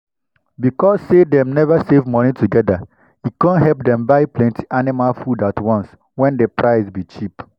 because say dem save moni together e come help dem buy plenty animal food at once when the price be cheap.